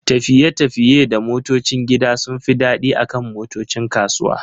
tafiye-tafiye da motocin gida sun fi daɗi akan motocin kasuwa.